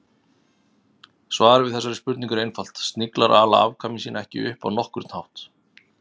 Svarið við þessari spurningu er einfalt: Sniglar ala afkvæmi sín ekki upp á nokkurn hátt.